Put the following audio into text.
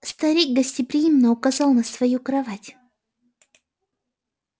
старик гостеприимно указал на свою кровать